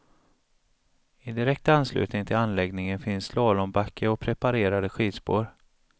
I direkt anslutning till anläggningen finns slalombacke och preparerade skidspår.